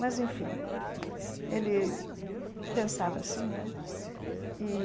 Mas, enfim, ele pensava assim, né? E